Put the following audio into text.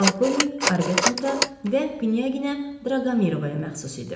Balkovnik Arbetnota və Knyaginya Draqomirovaya məxsus idi.